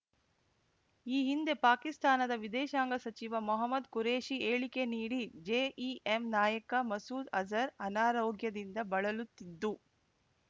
ಈ ಹಿಂದೆ ಪಾಕಿಸ್ತಾನದ ವಿದೇಶಾಂಗ ಸಚಿವ ಮೊಹ್ಮದ್ ಖುರೇಷಿ ಹೇಳಿಕೆ ನೀಡಿ ಜೆಇಎಂ ನಾಯಕ ಮಸೂದ್ ಅಜರ್ ಅನಾರೋಗ್ಯದಿಂದ ಬಳಲುತ್ತಿದ್ದು